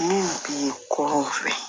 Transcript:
Min bi kuraw fɛ